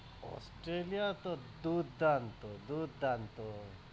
Australia তো দুর্দান্ত দুর্দান্ত,